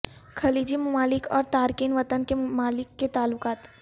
خلیجی ممالک اور تارکین وطن کے ممالک کے تعلقات